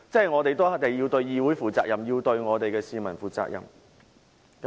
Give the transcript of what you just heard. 我們要對議會負責、對我們的市民負責。